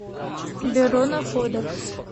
бюро находок